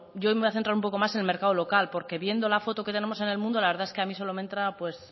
yo hoy me voy a centrar un poco más en el mercado local porque viendo la foto que tenemos en el mundo la verdad es que a mí